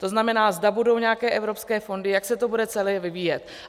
To znamená, zda budou nějaké evropské fondy, jak se to bude celé vyvíjet.